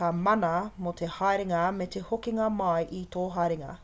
ka mana mō te haerenga me te hokinga mai o tō haerenga